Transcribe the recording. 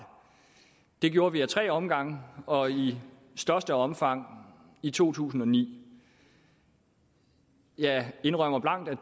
det gjorde vi ad tre omgange og i størst omfang i to tusind og ni jeg indrømmer blankt at